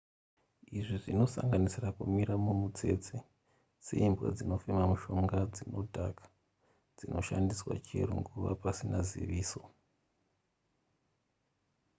izvi zvinosanganisira kumirira mumutsese seimbwa dzinofema mishonga dzinodhaka dzinoshandiswa chero nguva pasina ziviso